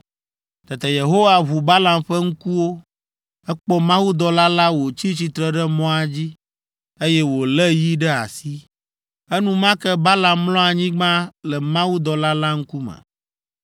Tete Yehowa ʋu Balaam ƒe ŋkuwo. Ekpɔ mawudɔla la wòtsi tsitre ɖe mɔa dzi, eye wòlé yi ɖe asi. Enumake Balaam mlɔ anyigba le mawudɔla la ŋkume.